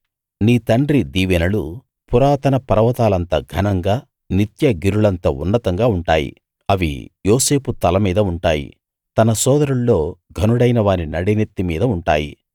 నీ తండ్రి దీవెనలు పురాతన పర్వతాలంత ఘనంగా నిత్య గిరులంత ఉన్నతంగా ఉంటాయి అవి యోసేపు తల మీద ఉంటాయి తన సోదరుల్లో ఘనుడైన వాని నడినెత్తి మీద ఉంటాయి